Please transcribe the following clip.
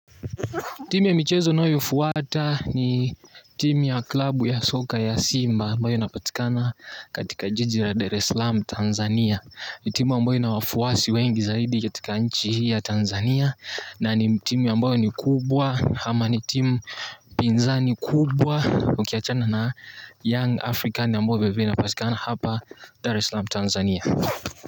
Timu ya michezo nayo fuwata ni timu ya klabu ya soka ya Simba ambayo inapatikana katika jiji la Dar eslam Tanzania ni timu ambayo ina wafuwasi wengi zaidi katika nchi hii ya Tanzania na ni timu ambayo ni kubwa ama ni timu pinza kubwa Ukiachana na young afrikani ambayo vilevile inapatikana hapa Dareslam Tanzania.